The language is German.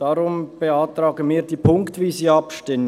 Deshalb beantragen wir ziffernweise Abstimmung.